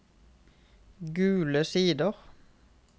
Gule Sider